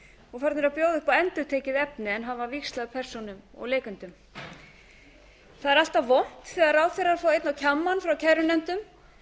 og farnir að bjóða upp á endurtekið efni en hafa víxlað persónum og leikendum það er alltaf vont þegar ráðherrar fá einn á kjammann frá kærunefndum